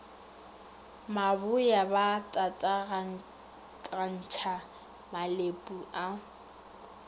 maboya ba tatagantšha malepu a